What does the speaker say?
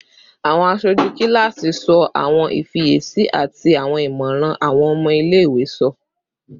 Awọn aṣoju kilasi sọ awọn ifiyesi ati awọn imọran awọn ọmọ ile-iwe sọ